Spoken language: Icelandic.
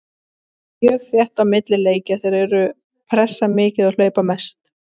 Það er mjög þétt á milli leikja, þeir eru pressa mikið og hlaupa mest.